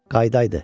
Qayıdaydı.